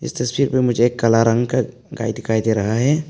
इस तस्वीर में मुझे एक काला रंग का गाय दिखाई दे रहा है।